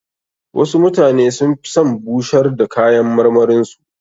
Wasu mutane sun fi son bushar da kayan marmarin su.